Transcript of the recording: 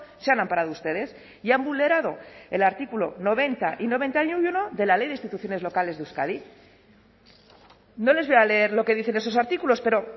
se han amparado ustedes y han vulnerado el artículo noventa y noventa y uno de la ley de instituciones locales de euskadi no les voy a leer lo que dicen esos artículos pero